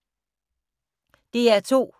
DR2